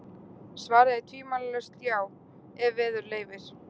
Svarið er tvímælalaust já, ef veður leyfir.